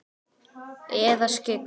Eða skyggn?